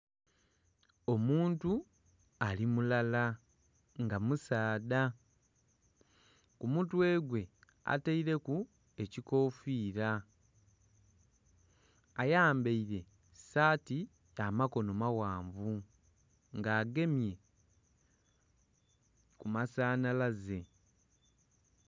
Omuntu ali mulala nga musaadha ku mutwe gwe ataireku ekikofira ayambaire saati ya makono maghanvu nga agemye ku masanhalaze.